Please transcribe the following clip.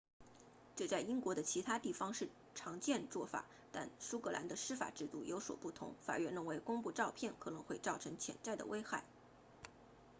这在英国的其他地方是常见做法但苏格兰的司法制度有所不同法院认为公布照片可能会造成潜在的危害